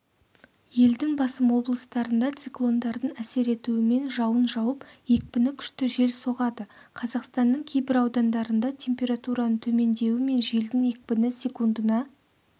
елдің басым облыстарында циклондардың әсер етуімен жауын жауып екпіні күшті жел соғады қазақстанның кейбір аудандарында температураның төмендеуі мен желдің екпіні секундына